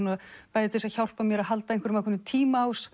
bæði til að hjálpa mér að halda ákveðnum